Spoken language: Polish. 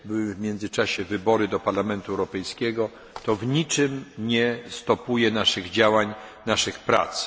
W międzyczasie odbyły się wybory do Parlamentu Europejskiego, które w niczym nie hamują naszych działań, naszych prac.